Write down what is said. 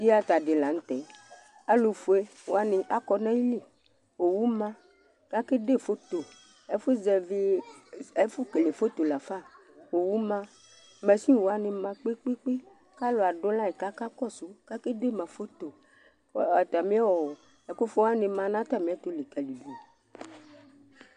Theatre ɖi la ŋtɛ Alufʋeni akɔ ŋu ayìlí owu ma ku ake ɖe photo Ɛfu kele photo lafa Owu ma, machine wani ma kpe kpe kʋ alu kasu kʋ akeɖe ma photo Atamiɔ ɛkʋfu waŋi ma ŋu atami ɛtu likaliɖu